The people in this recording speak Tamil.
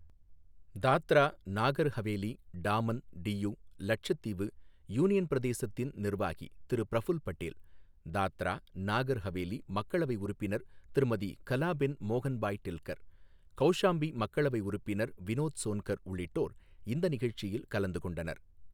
தாத்ரா, நாகர் ஹவேலி, டாமன், டியூ, லட்சத்தீவு, யூனியன் பிரதேசத்தின் நிர்வாகி திரு பிரஃபுல் படேல், தாத்ரா, நாகர் ஹவேலி, மக்களவை உறுப்பினர் திருமதி கலாபென் மோகன்பாய் டெல்கர், கௌஷாம்பி மக்களவை உறுப்பினர் வினோத் சோன்கர் உள்ளிட்டோர் இந்த நிகழ்ச்சியில் கலந்து கொண்டனர்